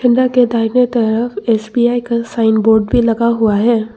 के दाहिने तरफ एस_बी_आई का साइन बोर्ड भी लगा हुआ है।